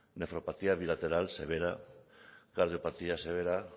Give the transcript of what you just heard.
bilateral severa cardiopatía severa